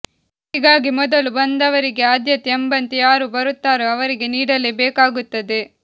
ಹೀಗಾಗಿ ಮೊದಲು ಬಂದವರಿಗೆ ಆದ್ಯತೆ ಎಂಬಂತೆ ಯಾರು ಬರುತ್ತಾರೋ ಅವರಿಗೆ ನೀಡಲೇ ಬೇಕಾಗುತ್ತದೆ